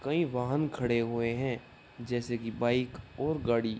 कइ वाहन खड़े हुए है जैसे की बाइक ओर गाड़ी --